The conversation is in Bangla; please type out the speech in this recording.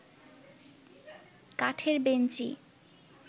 কাঠের বেঞ্চি